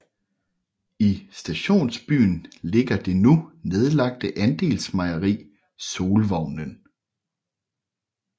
I stationsbyen ligger det nu nedlagte andelsmejeri Solvognen